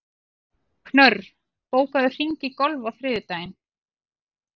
Knörr, bókaðu hring í golf á þriðjudaginn.